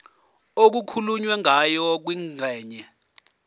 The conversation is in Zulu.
okukhulunywe ngayo kwingxenye